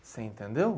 Você entendeu?